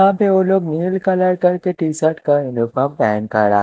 काफी वो लोग नील कलर करके टी_शर्ट का यूनिफॉर्म पहेन खड़ा--